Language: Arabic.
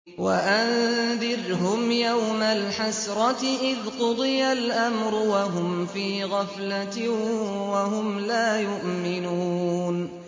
وَأَنذِرْهُمْ يَوْمَ الْحَسْرَةِ إِذْ قُضِيَ الْأَمْرُ وَهُمْ فِي غَفْلَةٍ وَهُمْ لَا يُؤْمِنُونَ